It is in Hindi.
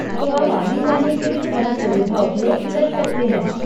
तो आप आने जाने के लिए वह सुविधा उपयोग कर सकते हैं।